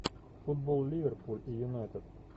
футбол ливерпуль и юнайтед